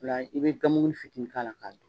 O la i bɛ gan mugunin fitinin k'a la k'a dun.